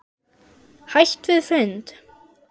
Hætt við fund?